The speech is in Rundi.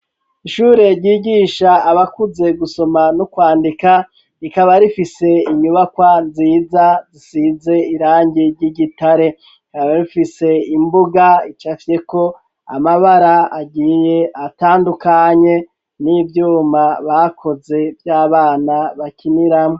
Ishure ryigisha abakuze gusoma no kwandika, rikaba rifise inyubakwa nziza zisize irangi ry'igitare. Rikaba rifise imbuga icafyeko amabara agiye atandukanye n'ivyuma bakoze vy'abana bakiniramwo.